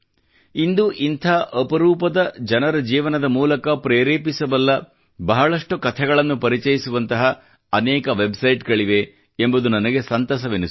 ಇಂದು ಇಂಥ ಅಪರೂಪದ ಜನರ ಜೀವನದ ಮೂಲಕ ಪ್ರೇರೇಪಿಸಬಲ್ಲ ಬಹಳಷ್ಟು ಕಥೆಗಳನ್ನು ಪರಿಚಯಿಸುವಂತಹ ಅನೇಕ ವೆಬ್ ಸೈಟ್ ಪುಟಗಳಿವೆ ಎಂಬುದು ನನಗೆ ಸಂತಸವೆನಿಸುತ್ತದೆ